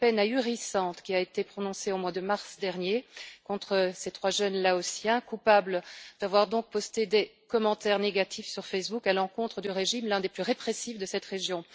C'est la peine ahurissante qui a été prononcée au mois de mars dernier contre ces trois jeunes Laotiens coupables d'avoir posté des commentaires négatifs sur Facebook à l'encontre du régime, l'un des plus répressifs de cette région.